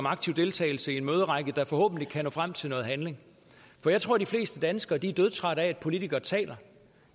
aktiv deltagelse i en møderække der forhåbentlig kan føre frem til noget handling for jeg tror de fleste danskere er dødtrætte af at politikere taler